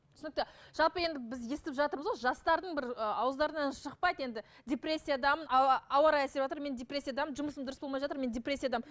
түсінікті жалпы енді біз естіп жатырмыз ғой жастардың бір ы ауыздарынан шықпайды енді депрессиядамын мен депрессиядамын жұмысым дұрыс болмай жатыр мен депрессиядамын